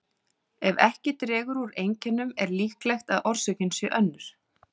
Ef ekki dregur úr einkennum er líklegt að orsökin sé önnur.